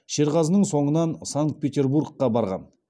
шерғазының соңынан санкт петербургқа барған